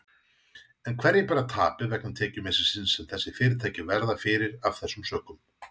En hverjir bera tapið vegna tekjumissisins sem þessi fyrirtæki verða fyrir af þessum sökum?